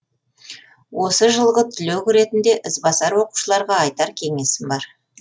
осы жылғы түлек ретінде ізбасар оқушыларға айтар кеңесім бар